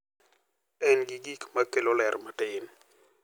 En gi gik ma kelo ler matin.